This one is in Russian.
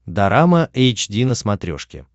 дорама эйч ди на смотрешке